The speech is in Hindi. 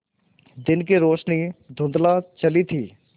दिन की रोशनी धुँधला चली थी